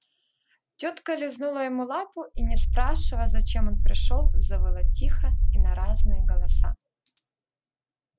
тётка лизнула ему лапу и не спрашивая зачем он пришёл завыла тихо и на разные голоса